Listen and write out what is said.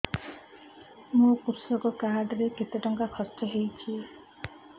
ମୋ କୃଷକ କାର୍ଡ ରେ କେତେ ଟଙ୍କା ଖର୍ଚ୍ଚ ହେଇଚି